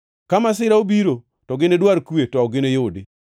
Ka masira obiro, to ginidwar kwe to ok giniyudi.